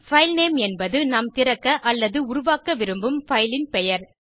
filename என்பது நாம் திறக்க அல்லது உருவாக்க விரும்பும் பைல் ன் பெயர்